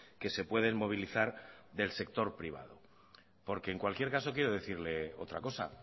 que se pueden movilizar del sector privado porque en cualquier caso quiero decirle otra cosa